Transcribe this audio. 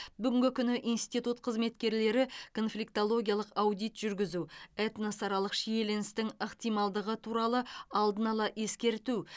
бүгінгі күні институт қызметкерлері конфликтологиялық аудит жүргізу этносаралық шиеленістің ықтималдығы туралы алдын ала ескерту